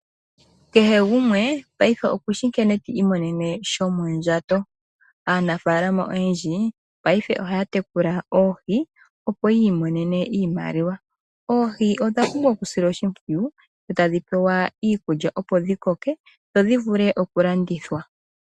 Kehe gumwe paife okushi nkene ti imonene shomondjato. Aanafaalama oyendji paife ohaya tekula oohi, opo yi imonene iimaliwa. Oohi odha pumbwa okusilwa oshimpwiyu tadhi pewa iikulya, opo dhi koke, opo dhi vule okulandithwa.